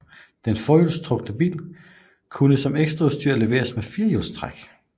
Den forhjulstrukne bil kunne som ekstraudstyr leveres med firehjulstræk